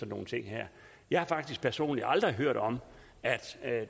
nogle ting her jeg har faktisk personligt aldrig hørt om at